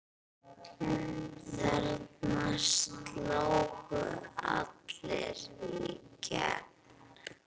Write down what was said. Þarna slógu allir í gegn.